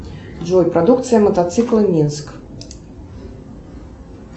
джой продукция мотоцикла минск